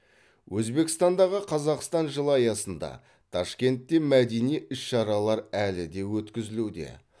өзбекстандағы қазақстан жылы аясында ташкентте мәдени іс шаралар әлі де өткізілуде